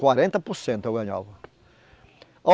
Quarenta por cento eu ganhava.